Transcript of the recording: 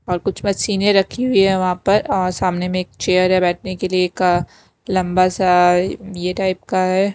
और कुछ मशीनें रखी हुई है वहाँ पर और सामने में एक चेयर हैबैठने के लिए एक लंबा सा ये टाइप का है।